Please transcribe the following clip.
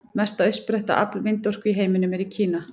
Mesta uppsetta afl vindorku í heiminum er í Kína.